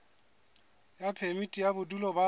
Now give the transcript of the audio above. ya phemiti ya bodulo ba